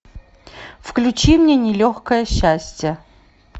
включи мне нелегкое счастье